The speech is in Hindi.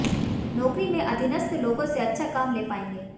नौकरी में अधीनस्थ लोगों से अच्छा काम ले पाएंगे